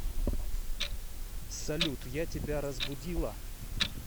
салют я тебя разбудила